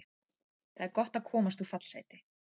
Það er gott að komast úr fallsæti.